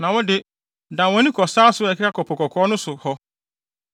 Na wo de, dan wʼani kɔ sare so a ɛkeka kɔ Po Kɔkɔɔ no so hɔ.”